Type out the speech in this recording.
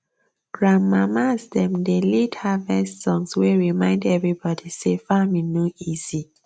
grandmamas dem dey lead harvest songs wey remind everybody say farming no easy